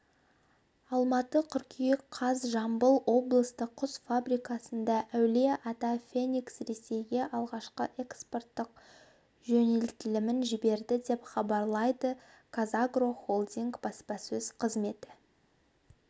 алматы қыркүйек қаз жамбыл облыстық құс фабрикасында әулие-ата феникс ресейге алғашқы экспорттық жөнелтілімін жіберді деп хабарлайды қазагро холдингі баспасөз қызметі